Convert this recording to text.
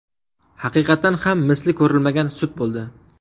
Haqiqatan ham, misli ko‘rilmagan sud bo‘ldi.